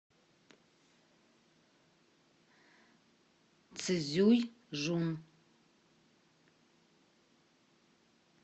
цзюйжун